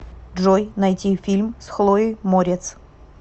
джой найти фильм с хлоей морец